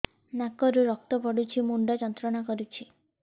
ନାକ ରୁ ରକ୍ତ ପଡ଼ୁଛି ମୁଣ୍ଡ ଯନ୍ତ୍ରଣା କରୁଛି